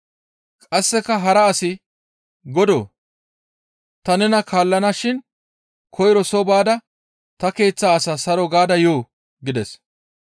Qasseka hara asi, «Godoo! Ta nena kaallana shin koyro soo baada ta keeththa asaa saro gaada yoo?» gides.